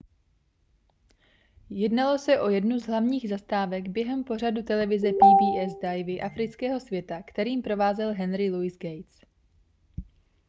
jednalo se o jednu z hlavních zastávek během pořadu televize pbs divy afrického světa kterým provázel henry luis gates